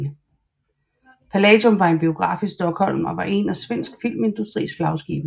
Palladium var en biograf i Stockholm og var en af Svensk Filmindustris flagskibe